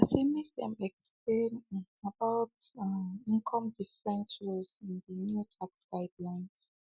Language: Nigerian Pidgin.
um i say make they explain um about the um income different rules in the new tax guidelines